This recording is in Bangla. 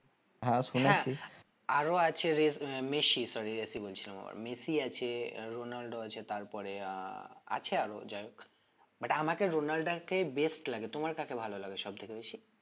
হ্যাঁ শুনেছি আরো আছে রে~ মেসি sorry রেসি বলছিলাম মেসি আছে রোনালদো আছে তারপরে আহ আছে আরো যাই হোক but আমাকে রোনালদো কে best লাগে, তোমার কাকে ভালো লাগে সব থেকে বেশি?